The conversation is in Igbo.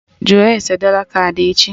Jụọ ese dọla kaadị echi!